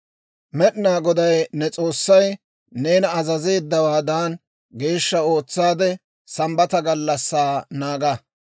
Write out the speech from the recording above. «Med'inaa Goday ne S'oossay neena azazeeddawaadan, geeshsha ootsaade Sambbata gallassaa naaga.